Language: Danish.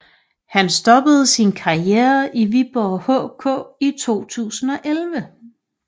Han stoppede sin karriere i Viborg HK i 2011